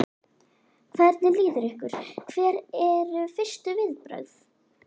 Hvernig líður ykkur, hver eru fyrstu viðbrögð?